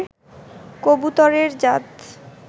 কবুতরের জাত